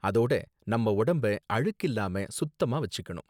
அதோட நம்ம உடம்ப அழுக்கில்லாம சுத்தமா வச்சிக்கணும்